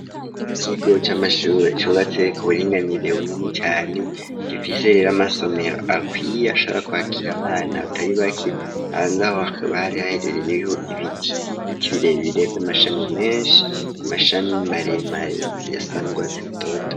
Ikigo cy'amashure cubatse ku buringanire bunini cane gifise rero amasomero akwiye ashaka kwakira abana batari bake, hanze aho hakaba hari haherereye ho ibiki biti birebebbirebe 'amashami menshi mashami maremare yasandwase rutoto.